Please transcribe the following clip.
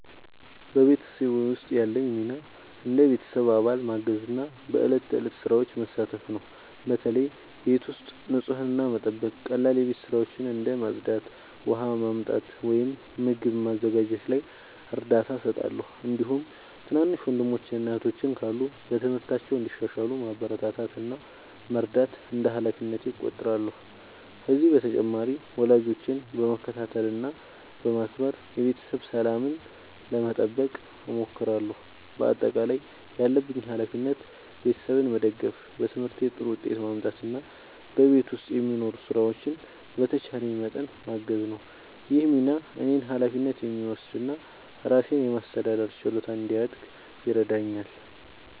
በቤተሰቤ ውስጥ ያለኝ ሚና እንደ ቤተሰብ አባል ማገዝና በዕለት ተዕለት ሥራዎች መሳተፍ ነው። በተለይ ቤት ውስጥ ንጽህናን መጠበቅ፣ ቀላል የቤት ሥራዎችን እንደ ማጽዳት፣ ውሃ ማመጣት ወይም ምግብ ማዘጋጀት ላይ እርዳታ እሰጣለሁ። እንዲሁም ትናንሽ ወንድሞችና እህቶች ካሉ በትምህርታቸው እንዲሻሻሉ ማበረታታት እና መርዳት እንደ ሃላፊነቴ እቆጥራለሁ። ከዚህ በተጨማሪ ወላጆቼን በመከታተል እና በማክበር የቤተሰብ ሰላምን ለመጠበቅ እሞክራለሁ። በአጠቃላይ ያለብኝ ሃላፊነት ቤተሰቤን መደገፍ፣ በትምህርቴ ጥሩ ውጤት ማምጣት እና በቤት ውስጥ የሚኖሩ ሥራዎችን በተቻለኝ መጠን ማገዝ ነው። ይህ ሚና እኔን ኃላፊነት የሚወስድ እና ራሴን የማስተዳደር ችሎታ እንዲያድግ ይረዳኛል።